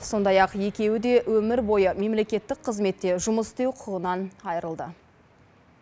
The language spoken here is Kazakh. сондай ақ екеуі де өмір бойы мемлекеттік қызметте жұмыс істеу құқығынан айырылды